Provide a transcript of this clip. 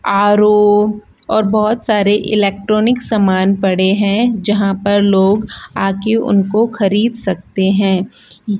RO और बहोत सारे इलेक्ट्रॉनिक सामान पड़े हैं जहां पर लोग आके उनको खरीद सकते हैं।